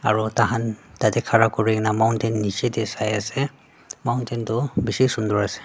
aro takhan tatae khara kurikaena mountain nichae tae sai ase mountain toh bishi sunder ase.